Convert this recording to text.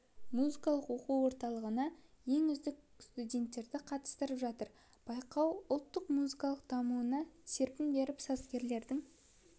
музыкалық оқу орындарының ең үздік студенттері қатысып жатыр байқау ұлттық музыканың дамуына серпін беріп сазгерлердің